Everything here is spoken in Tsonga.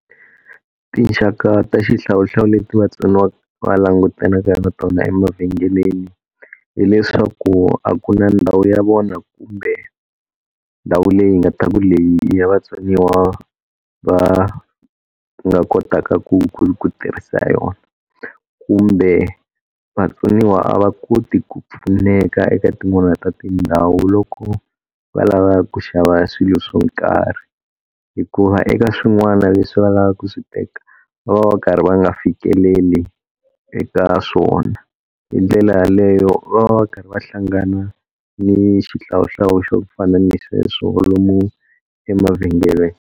Tinxaka ta xihlawuhlawu leti vatsoniwa va langutanaka na tona emavhengeleni hileswaku a ku na ndhawu ya vona kumbe ndhawu leyi nga ta ku leyi ya vatsoniwa va ku nga kotaka ku ku tirhisa yona kumbe vatsoniwa a va koti ku pfuneka eka tin'wana ta tindhawu loko va lava ku xava swilo swo karhi hikuva eka swin'wana leswi va lavaka ku swi teka va va va karhi va nga fikeleli eka swona hi ndlela yaleyo va va karhi va hlangana ni xihlawuhlawu xo fana ni sweswo lomu emavhengeleni.